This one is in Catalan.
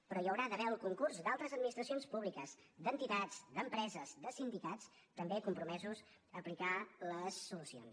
però hi haurà d’haver el concurs d’altres administracions públiques d’entitats d’empreses de sindicats també compromesos a aplicar les solucions